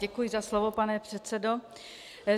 Děkuji za slovo, pane předsedo.